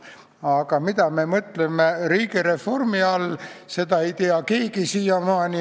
Aga mida me mõtleme riigireformi all, seda ei tea keegi siiamaani.